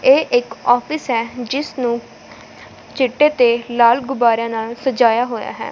ਇਹ ਇੱਕ ਆਫਿਸ ਹੈ ਜਿਸ ਨੂੰ ਚਿੱਟੇ ਤੇ ਲਾਲ ਗੁਬਾਰਿਆਂ ਨਾਲ ਸਜਾਇਆ ਹੋਇਆ ਹੈ।